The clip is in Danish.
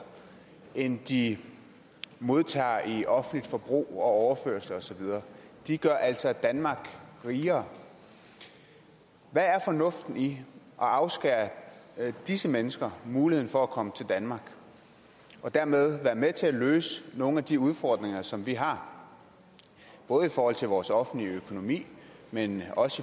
end de modtager i offentligt forbrug og overførsler og så videre de gør altså danmark rigere hvad er fornuften i at afskære disse mennesker muligheden for at komme til danmark og dermed være med til at løse nogle af de udfordringer som vi har både i forhold til vores offentlige økonomi men også